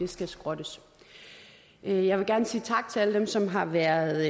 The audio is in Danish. skal skrottes jeg vil gerne sige tak til alle dem som har været